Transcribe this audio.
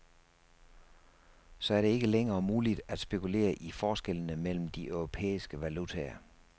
Så er det ikke længere muligt at spekulere i forskellene mellem de europæiske valutaer.